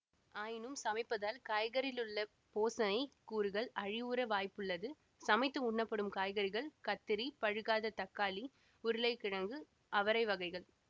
ஆயினும் சமைப்பதால் காய்கறிகளிலுள்ள போசணைக் கூறுகள் அழிவுற வாய்ப்புள்ளது சமைத்து உண்ணப்படும் காய்கறிகள் கத்தரி பழுக்காத தக்காளி உருளைக் கிழங்கு அவரைவகைகள்